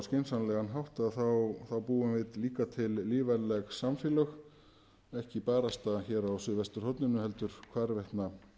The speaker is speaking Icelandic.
skynsamlegan hátt þá búum við líka til lífvænleg samfélög ekki bara á suðvesturhorninu heldur hvarvetna